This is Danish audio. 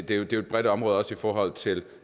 det er jo et bredt område også i forhold til